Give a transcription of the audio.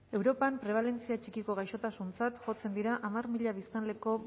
europan prebalentzia txikiko gaixotasuntzat jotzen dira hamar mila biztanleko